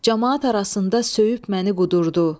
Camaat arasında söyüb məni qudurdu.